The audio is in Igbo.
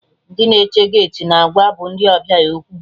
Ndị na-eche geeti na agwa bụ ndị ọbịa okwu